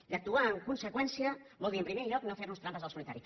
i actuar en conseqüència vol dir en primer lloc no fer nos trampes al solitari